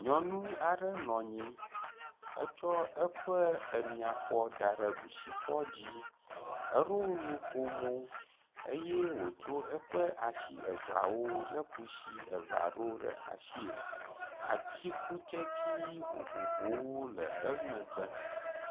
Nyɔnu aɖe nɔ anyi etsɔ eƒe emiafɔ da ɖe ɖusifɔ dzi. Eɖo nukomo eye wotso eƒe asi eveawo le kusi eve aɖewo ɖe asie. Atikutsetsi vovovowo le emegbe.